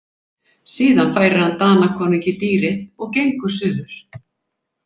Síðan færir hann Danakonungi dýrið og gengur suður.